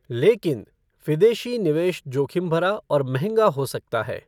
लेकिन, विदेशी निवेश जोखिम भरा और महँगा हो सकता है।